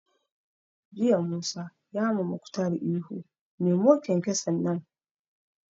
Jiya Musa ya ma Muktar ihu 'Nemo kyankyason nan'!